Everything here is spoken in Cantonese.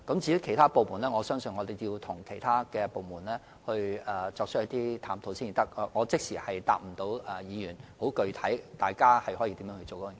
至於其他部門，我相信要與其他部門一起探討才知道，所以無法即時回答議員如何處理有關工作的具體安排。